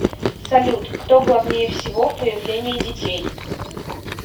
салют кто главнее всего в появлении детей